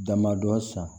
Damadɔ san